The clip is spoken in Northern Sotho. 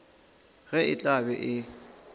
ge e tla be e